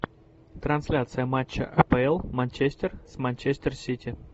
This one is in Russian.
трансляция матча апл манчестер с манчестер сити